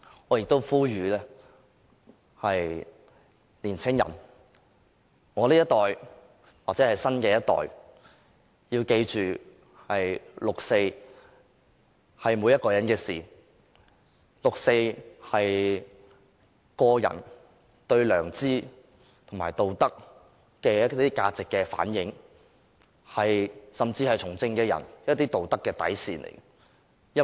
我亦呼籲年青人，我這一代或新一代要記着六四是每一個人的事，六四是個人對良知和道德價值的反映，甚至是從政者的道德底線。